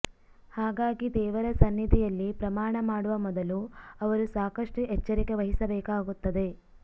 ಹಾಗಾಗಿ ದೇವರ ಸನ್ನಿಧಿಯಲ್ಲಿ ಪ್ರಮಾಣ ಮಾಡುವ ಮೊದಲು ಅವರು ಸಾಕಷ್ಟು ಎಚ್ಚರಿಕೆ ವಹಿಸಬೇಕಾಗುತ್ತದೆ